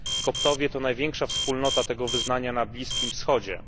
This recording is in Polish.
Koptowie to największa wspólnota tego wyznania na Bliskim Wschodzie.